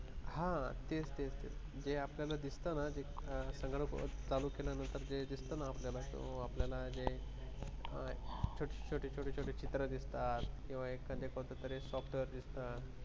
हा तेच तेच तेच जे आपल्याला दिसतं ना संगणक चालू केल्यानंतर जे दिसताना आपल्याला जे आपल्याला छोटे छोटे चित्र दिसतात किंवा एखाद कोणतरी software दिसतात